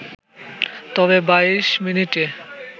তবে ২২ মিনিটে